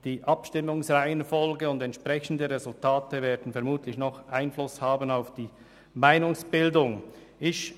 Die Abstimmungsreihenfolge und die entsprechenden Resultate werden vermutlich noch einen Einfluss auf die Meinungsbildung haben.